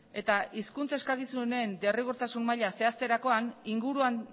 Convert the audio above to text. eta hizkuntza eskakizunen derrigortasun maila zehazterakoan inguruan